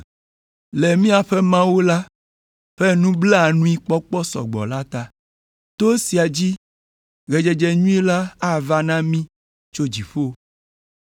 le míaƒe Mawu la ƒe nublanuikpɔkpɔ sɔgbɔ la ta, to esia dzi ɣedzedze nyui la ava na mí tso dziƒo,